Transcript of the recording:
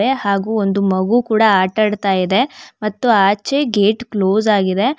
ಹಾಗೂ ಒಂದು ಮಗು ಕೂಡ ಆಟ ಆಡ್ತಾಯಿದೆ ಮತ್ತು ಆಚೆ ಗೇಟ್ ಕ್ಲೋಸ್ ಆಗಿದೆ.